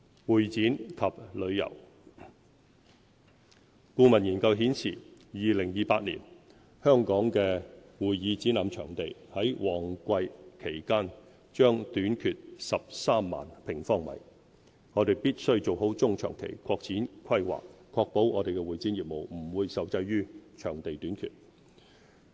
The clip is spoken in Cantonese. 會展及旅遊顧問研究顯示 ，2028 年香港的會議展覽場地於旺季期間將短缺13萬平方米，我們必須做好中長期擴展規劃，確保我們的會展業務不會受制於場地短缺。